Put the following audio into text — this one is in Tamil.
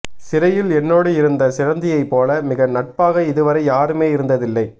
சிறையில் என்னோடு இருந்த சிலந்தியை போல மிக நட்பாக இதுவரை யாருமேயிருந்ததில்லை